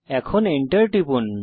এখন Enter টিপুন